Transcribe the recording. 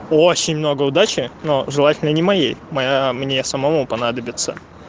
очень много удачи но желательно не моей моя мне самому понадобится